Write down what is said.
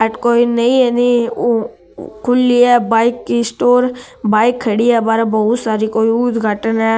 अठ कोई नई नई खुली है बाईक की स्टोर बाईक खड़ी है बहुत सारी कोई उद्घाटन है।